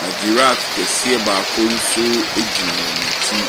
Na giraffe kɛseɛ bi nso gyina wɔ akyi.